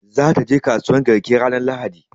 Za ta je kasuwan garki ranar lahadi